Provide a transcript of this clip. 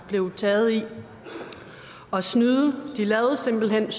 blev taget i at snyde de lavede simpelt hen